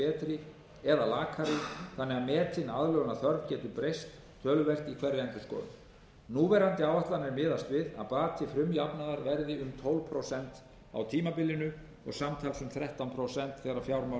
betri eða lakari þannig að metin aðlögunarþörf getur breyst töluvert í hverri endurskoðun núverandi áætlanir miðast við að bati frumjafnaðar verði um tólf prósent á tímabilinu og samtals um þrettán prósent þegar fjármál